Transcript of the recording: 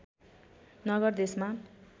नगर देशमा